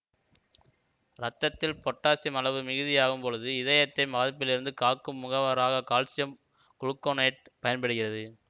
இரத்தத்தில் பொட்டாசியம் அளவு மிகுதியாகும் பொழுது இதயத்தை பாதிப்பிலிருந்து காக்கும் முகவராக கால்சியம் குளுக்கோனேட்டு பயன்படுகிறது